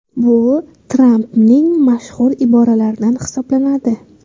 Bu Trampning mashhur iboralaridan hisoblanadi.